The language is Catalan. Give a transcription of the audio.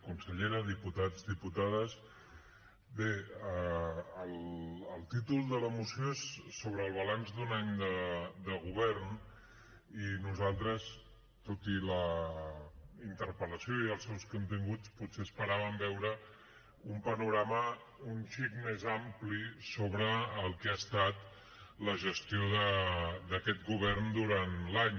consellera diputats diputades bé el títol de la moció és sobre el balanç d’un any de govern i nosaltres tot i la interpel·lació i els seus continguts potser esperàvem veure un panorama un xic més ampli sobre el que ha estat la gestió d’aquest govern durant l’any